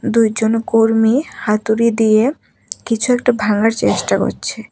দুইজন কর্মী হাতুড়ি দিয়ে কিছু একটা ভাঙার চেষ্টা করছে।